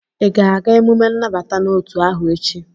ị ga-aga emume nnabata n'otu ahụ echi?